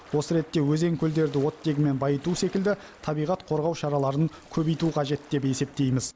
осы ретте өзен көлдерді оттегімен байыту секілді табиғат қорғау шараларын көбейту қажет деп есептейміз